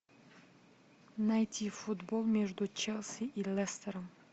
найти футбол между челси и лестером